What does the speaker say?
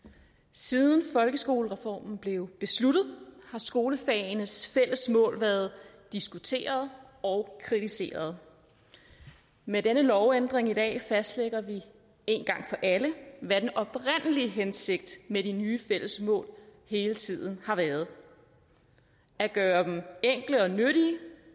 siden folkeskolereformen blev besluttet har skolefagenes fælles mål været diskuteret og kritiseret med denne lovændring i dag fastlægger vi én gang for alle hvad den oprindelige hensigt med de nye fælles mål hele tiden har været at gøre dem enkle og nyttige